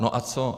No a co?